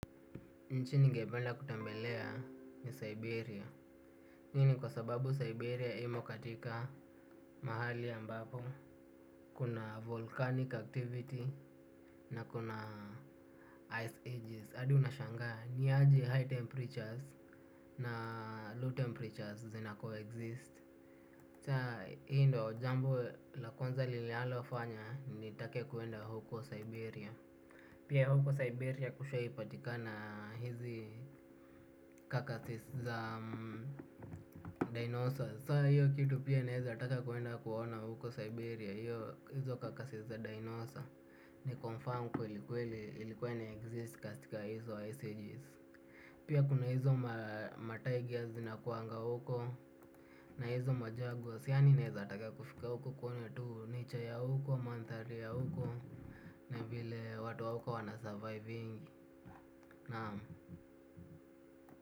Nchi ningependa kutembelea ni Siberia hii ni kwa sababu Siberia imo katika mahali ambapo kuna volcanic activity na kuna ice ages Adi unashangaa niaje high temperatures na low temperatures zina co-exist. Chaa hii ndo jambo lakwanza lile alofanya nitake kuenda huko Siberia. Pia huko Siberia kushai patikana hizi kakasis za dinosa Sa hiyo kitu pia inaeza taka kwenda kuona huko Siberia. Hizo kakasis za dinosa ni confirm kwelikweli ilikuwa ina exist kastika hizo ICGs. Pia kuna hizo matagia zina kuanga huko. Na hizo majagos. Yani neeza taka kufika huko kuona tuu nature ya huko, manthari ya huko. Na vile watu wa uko wana surviving. Naam.